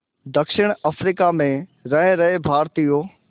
दक्षिण अफ्रीका में रह रहे भारतीयों